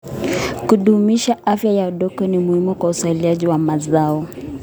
Kudumisha afya ya udongo ni muhimu kwa uzalishaji wa mazao.